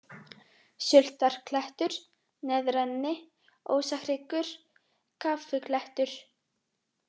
Sultarklettur, Neðra-Enni, Ósahryggur, Kaffiklettur